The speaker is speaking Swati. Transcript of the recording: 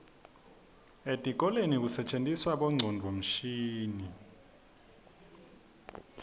etikolweni kusetjentiswa bongcondvomshini